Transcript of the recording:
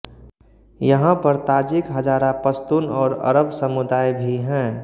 यहाँ पर ताजिक हज़ारा पश्तून और अरब समुदाय भी हैं